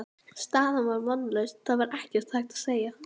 Staðan var vonlaus, það var ekkert hægt að segja.